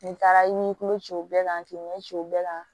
Nin taara i ni tulo ciw bɛɛ kan k'i ɲɛ ci u bɛɛ kan